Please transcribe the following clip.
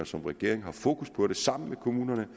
som regering har fokus på det sammen med kommunerne